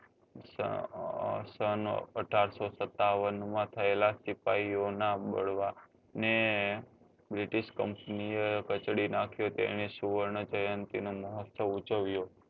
સન અઢારસો સત્તાવન માં થયેલા સિપાહીઓ ના બાળવાને british કચડી નાખ્યો તો એની સુવર્ણ જયંતી નો મોહ્ત્સ્વ ઉજવ્યો